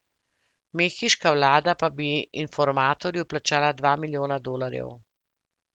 Mehiška vlada pa bi informatorju plačala dva milijona dolarjev.